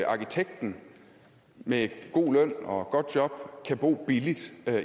arkitekten med god løn og godt job kan bo billigt